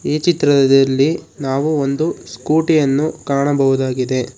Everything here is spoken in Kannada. ಈ ಚಿತ್ರದಲ್ಲಿ ನಾವು ಒಂದು ಸ್ಕೂಟಿ ಯನ್ನು ಕಾಣಬಹುದಾಗಿದೆ.